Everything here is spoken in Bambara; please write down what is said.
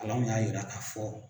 alanw y'a yira ka fɔ